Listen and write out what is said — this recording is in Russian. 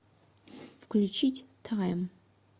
включить тайм